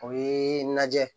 O ye lajɛ